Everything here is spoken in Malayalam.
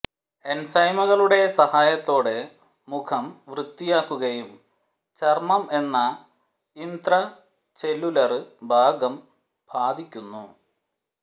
എൻസൈമുകളുടെ സഹായത്തോടെ മുഖം വൃത്തിയാക്കുകയും ചര്മ്മം എന്ന ഇംത്രചെല്ലുലര് ഭാഗം ബാധിക്കുന്നു